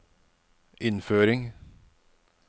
innføring